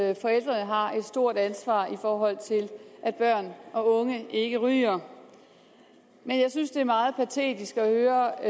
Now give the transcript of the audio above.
i at forældrene har et stort ansvar for at børn og unge ikke ryger men jeg synes det er meget patetisk at høre